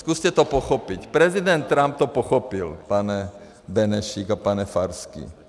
Zkuste to pochopit, prezident Trump to pochopil, pane Benešíku a pane Farský.